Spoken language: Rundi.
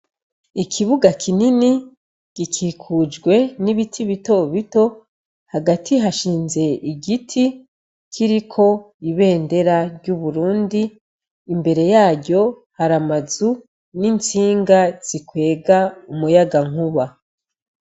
Ikibuga kinini gikikujwe n'ibiti bitobito hagati hashinze igiti kiriko ibendera ry'uburundi imbere yaryo hari amazu n'intsinga zikwega umuyaga nkuba.